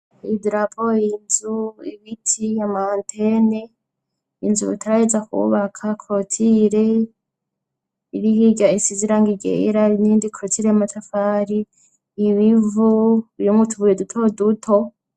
Idrapo, inzu, ibiti, amantene, inzu bataraheza kwubaka korotire, irihirya isi ziranga iryera, n'iyindi korotire yamatafari, ibivu birimwo utubuye duto duto.